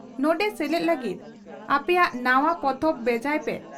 ᱱᱚᱰᱮ ᱥᱮᱞᱮᱫ ᱞᱟᱹᱜᱤᱫ ᱟᱯᱮᱭᱟᱜ ᱱᱟᱣᱟ ᱯᱚᱛᱚᱵ ᱵᱷᱮᱡᱟᱭ ᱯᱮ